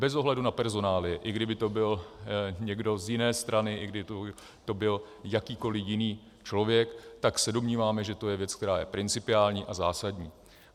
Bez ohledu na personálie, i kdyby to byl někdo z jiné strany, i kdyby to byl jakýkoliv jiný člověk, tak se domníváme, že to je věc, která je principiální a zásadní.